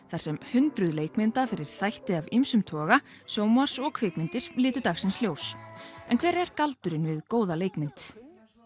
þar sem hundruð leikmynda fyrir þætti af ýmsum toga sjónvarps og kvikmyndir litu dagsins ljós en hver er galdurinn við góða leikmynd